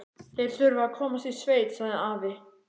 Þeir þurfa að komast í sveit, sagði afi.